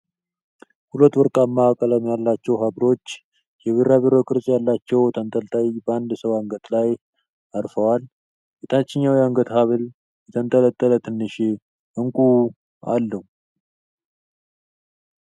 ሁለት ወርቃማ ቀለም ያላቸው ሃብሎች የቢራቢሮ ቅርጽ ያላቸው ተንጠልጣይ በአንድ ሰው አንገት ላይ አርፈዋል። የታችኛው የአንገት ሃብል የተንጠለጠለ ትንሽ እንቁ አለው።